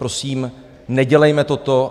Prosím, nedělejme toto.